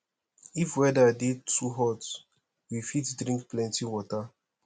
if weather dey too hot we fit drink plenty water